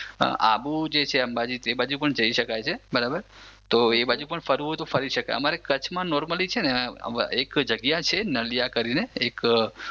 આબુ જે છે અંબાજી એ બાજુ પણ જઈ સકાય છે બરાબર તો એ બાજુ પણ ફરવા જવું હોય તો ફરી સકાય. અમારે કચ્છ માં નોર્મલી છે ને નલિયા કરી ને એક.